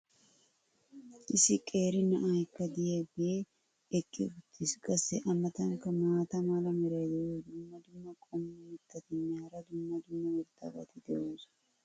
issi qeeri na"aykka diyaagee eqqi uttiis. qassi a matankka maata mala meray diyo dumma dumma qommo mitattinne hara dumma dumma irxxabati de'oosona.